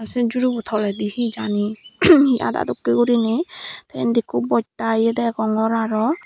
tey sen jhuri bu toledi he jani he ada dokken guriney tey indi ekko botta yea degongor aro.